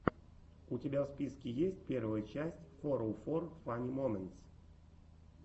у тебя в списке есть первая часть фороуфор фанни моментс